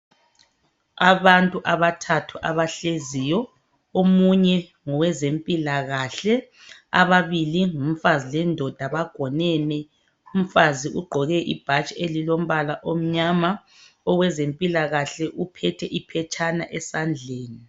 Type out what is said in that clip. Abantu abathathu abahleziyo omunye ngowezempilakahle ababili ngumfazi lendoda bagonene umfazi ugqoke ibhatshi elilombala omnyama owezempilakahle uphethe iphetshana esandleni.